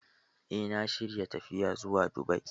Eh, na shirya tafiya zuwa Dubai